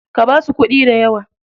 Ka basu kuɗi dayawa.